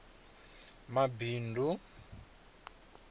mabindu